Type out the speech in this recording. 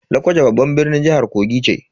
Lokoja babban birnin jihar Kogi ce.